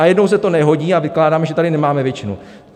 A jednou se to nehodí a vykládáme, že tady nemáme většinu.